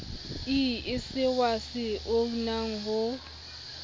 ie seoa se unang ho